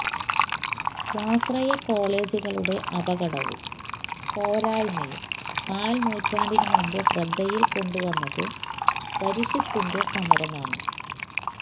സ്വാശ്രയ കോളെജുകളുടെ അപകടവും പോരായ്മയും കാല് നൂറ്റാണ്ടിനുമുമ്പ് ശ്രദ്ധയില് കൊണ്ടുവന്നത് പരിഷത്തിന്റെ സമരമാണ്